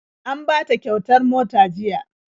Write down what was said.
An bata kyautar mota jiya..